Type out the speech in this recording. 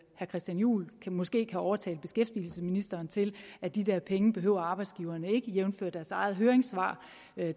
christian juhl måske kan overtale beskæftigelsesministeren til at de der penge behøver arbejdsgiverne ikke jævnfør deres eget høringssvar